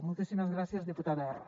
moltíssimes gràcies disputada erra